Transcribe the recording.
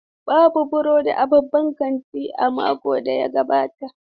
Babu burodi a babban kantin a makon da ya gabata.